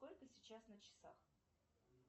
сколько сейчас на часах